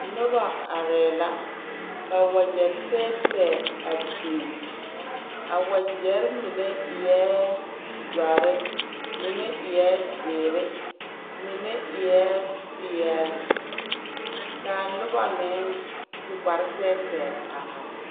Noba arɛɛ la ka wakyɛ tɛɛtɛɛ a biŋ a wakyɛrɛɛ mine ēē doɔre mine ēē seree mine ēē peɛle ka a noba meŋ su kparre tɛɛtɛɛ a are.